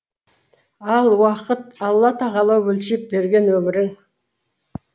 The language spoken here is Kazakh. ал уақыт алла тағала өлшеп берген өмірің